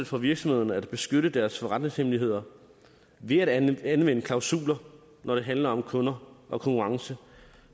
for virksomhederne at beskytte deres forretningshemmeligheder ved at anvende klausuler når det handler om kunder og konkurrence